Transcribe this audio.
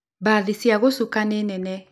Mbathi cia gĩcuka nĩ nene.